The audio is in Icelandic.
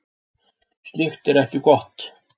Slíkt er ekki gott.